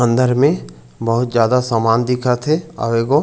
अंदर में बहुत ज्यादा सामान दिखत हे आऊ एक गो--